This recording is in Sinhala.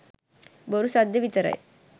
බොරු සද්දෙ විතරයි.